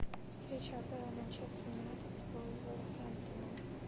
встреча апл манчестер юнайтед с вулверхэмптоном